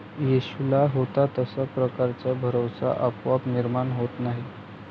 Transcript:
येशूला होता तशा प्रकारचा भरवसा आपोआप निर्माण होत नाही.